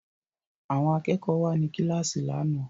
Àwọn akẹ́kọ̀ọ́ wà ní kíláàsì lánàá